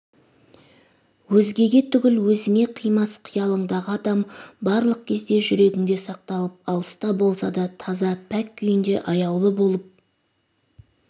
өзгеге түгіл өзіңе қимас қиялыңдағы адам барлық кезде жүрегіңде сақталып алыста болса да таза пәк күйінде аяулы болып